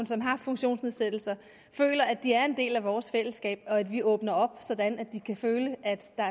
som har en funktionsnedsættelse føler at de er en del af vores fællesskab og at vi åbner op sådan at de kan føle at der